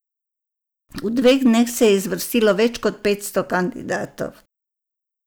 V dveh dneh se je zvrstilo več kot petsto kandidatov.